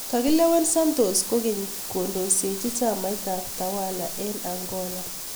Kakilewen santos kokeny kondoisechi chamait ab tawala eng Angola